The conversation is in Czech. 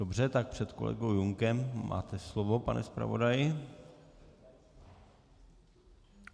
Dobře, tak před kolegou Junkem máte slovo, pane zpravodaji.